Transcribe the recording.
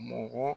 Mɔgɔ